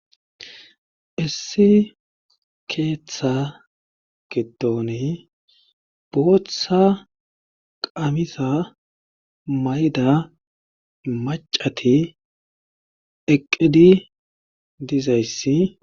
issi keeththa gidoni boothtsha qamisa mayda macati eqqidi dizayssi